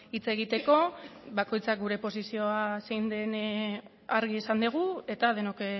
hitz egiteko bakoitzak gure posizioa zein den argi esan dugu eta denok